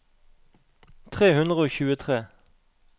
tre hundre og tjuetre